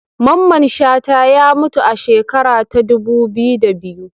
Mamman Shata ya mutu a shekara ta dubu biyu da biyu